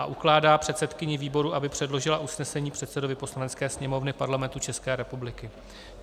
III. ukládá předsedkyni výboru, aby předložila usnesení předsedovi Poslanecké sněmovny Parlamentu České republiky.